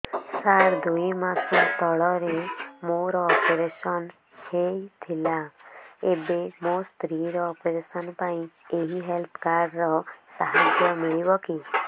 ସାର ଦୁଇ ମାସ ତଳରେ ମୋର ଅପେରସନ ହୈ ଥିଲା ଏବେ ମୋ ସ୍ତ୍ରୀ ର ଅପେରସନ ପାଇଁ ଏହି ହେଲ୍ଥ କାର୍ଡ ର ସାହାଯ୍ୟ ମିଳିବ କି